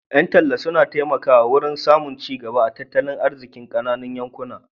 Ƴan talla suna taimaka wurin samun cigaba a tattalin arzikin ƙananun yankuna.